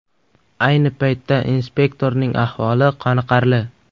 Ayni paytda inspektorning ahvoli qoniqarli.